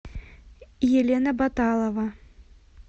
елена баталова